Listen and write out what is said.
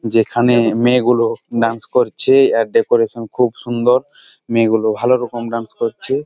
যেখানে মেয়ে গুলো ডান্স করছে। এর ডেকোরেশন খুব সুন্দর মেয়ে গুলো ভালো রকম ডান্স করছে।